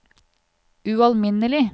ualminnelig